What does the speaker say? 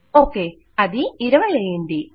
okay అది 20 అయింది